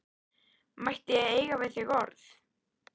Mætti ég eiga við þig orð?